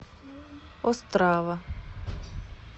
острава